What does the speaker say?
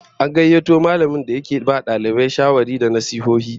An gayyato mallamin da ke bai wa dalibai shawarwari da nasihohi